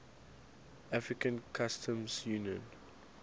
african customs union